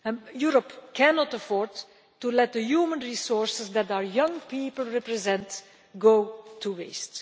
youth. Europe cannot afford to let the human resources that our young people represent go to